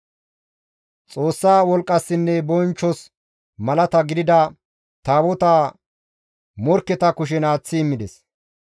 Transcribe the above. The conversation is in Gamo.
Xoossa wolqqassinne bonchchos malaata gidida Taabotaa morkketa kushen aaththi immides.